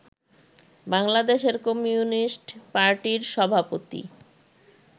বাংলাদেশের কমিউনিস্ট পার্টির সভাপতি